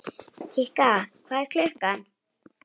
Kikka, hvað er klukkan?